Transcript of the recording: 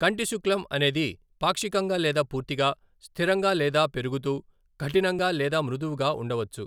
కంటిశుక్లం అనేది పాక్షికంగా లేదా పూర్తిగా, స్థిరంగా లేదా పెరుగుతూ, కఠినంగా లేదా మృదువుగా ఉండవచ్చు.